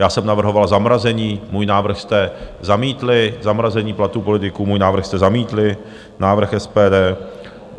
Já jsem navrhoval zamrazení, můj návrh jste zamítli, zamrazení platů politiků, můj návrh jste zamítli, návrh SPD.